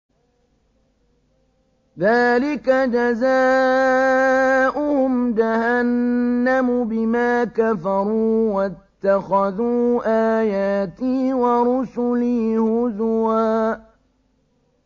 ذَٰلِكَ جَزَاؤُهُمْ جَهَنَّمُ بِمَا كَفَرُوا وَاتَّخَذُوا آيَاتِي وَرُسُلِي هُزُوًا